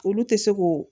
Olu tɛ se ko